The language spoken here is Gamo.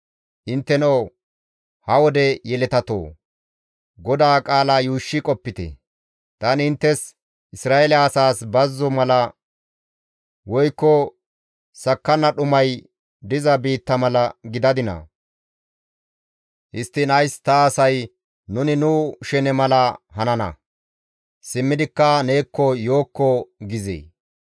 Intteno ha wode yeletatoo! GODAA qaala yuushshi qopite; «Tani inttes Isra7eele asaas bazzo mala woykko sakkanna dhumay diza biitta mala gidadinaa? Histtiin ays ta asay, ‹Nuni nu shene mala hanana; simmidikka neekko yookko› gizee?